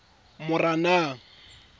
moranang